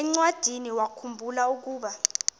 encwadiniwakhu mbula ukuba